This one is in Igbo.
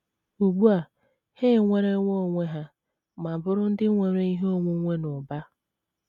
Ugbu a, ha enwerewo onwe ha ma bụrụ ndị nwere ihe onwunwe n’ụba.